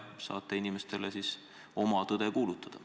Saate nii inimestele oma tõde kuulutada.